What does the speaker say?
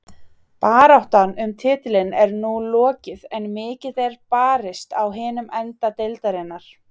Baráttan um titilinn er nú lokið en mikið er barist á hinum enda deildarinnar.